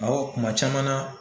Awɔ kuma caman na.